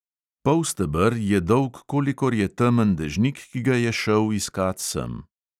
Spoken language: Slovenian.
Polsteber je dolg, kolikor je temen dežnik, ki ga je šel iskat sem.